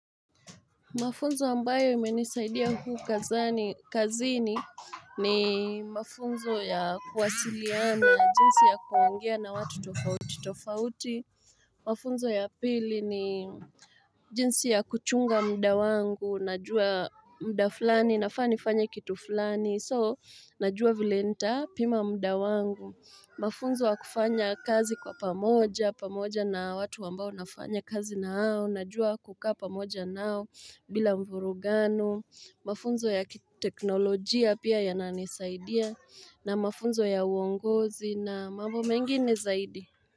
Mafunzo ambayo imenisaidia huu kazani kazini ni mafunzo ya kuwasiliana jinsi ya kuungea na watu tofauti tofauti Mafunzo ya pili ni jinsi ya kuchunga mda wangu, najua mda fulani, nafaa nifanye kitu fulani, soo najua vile nitapima muda wangu Mafunzo wa kufanya kazi kwa pamoja, pamoja na watu ambao nafanya kazi nao, najua kukaa pamoja nao bila mvurugano, mafunzo ya kiteknolojia pia yananisaidia, na mafunzo ya uongozi na mambo mengine zaidi.